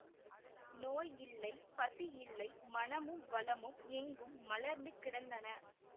நோய் இல்லை பசி இல்லை மனமும் வளமும் எங்கும் மலர்ந்து கிடந்தன